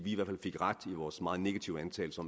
i hvert fald fik ret i vores meget negative antagelser